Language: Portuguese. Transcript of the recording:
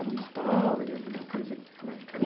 Alguma história, alguma coisa